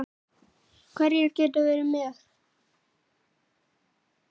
Hverjir geta verið með?